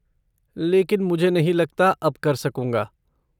लेकिन मुझे नहीं लगता अब कर सकूंगा।